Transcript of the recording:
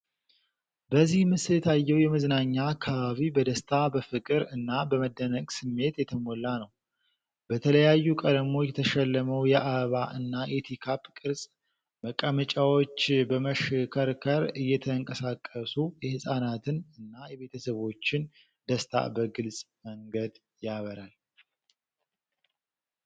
በዚህ ምስል የታየው የመዝናኛ አካባቢ በደስታ፣ በፍቅር እና በመደነቅ ስሜት የተሞላ ነው። በተለያዩ ቀለሞች የተሸለመው የአበባ እና የቲካፕ ቅርጽ መቀመጫዎች በመሽከርከር እየተንቀሳቀሱ የህፃናትን እና የቤተሰቦችን ደስታ በግልጽ መንገድ ያበራሉ።